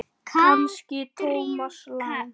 Kannski Thomas Lang?